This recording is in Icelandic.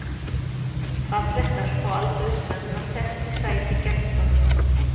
Falleg stelpa á aldur við Svenna sest í sæti gegnt honum.